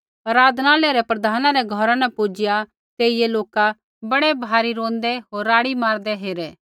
आराधनालय रै प्रधाना रै घौरा न पुजिआ तेइयै लोका बड़ै भारी रोंदै होर राड़ी मारदै हेरै